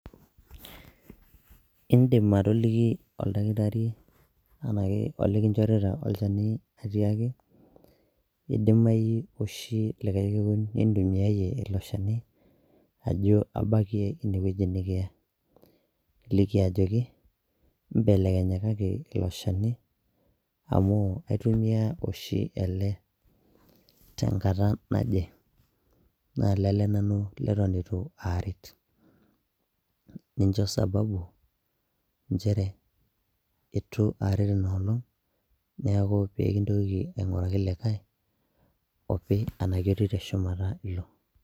indim atoliki oldakitari enake olikinchorita olchani atiaki idimai oshi likae kekun nintumiayie ilo shani ajo abakie inewueji nikiya niliki ajoki imbelekenyakaki ilo shani amu aitumia oshi ele tenkata naje naa lele nanu leton itu aret nincho sababu nchere etu aret inolong neeku pekintoki aing'uraki likae opi anake otii teshumata ilo.